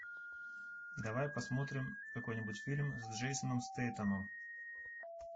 давай посмотрим какой нибудь фильм с джейсоном стейтемом